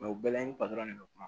u bɛɛ la ni patɔrɔn de bɛ kuma